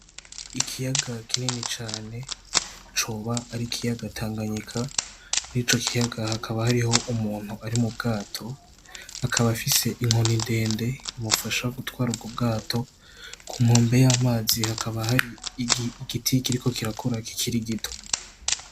Ikiyaga kinini cane coba ar'ikiyaga Tanganyika , mur'ico kiyaga hakaba hariho umuntu ari mu bwato akaba afise inkoni ndende imufasha gutwar'ubwo bwato ku nkombe y'amazi hakaba hari igiti kiriko kirakura kikiri gito.